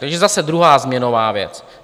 Takže zase druhá změnová věc.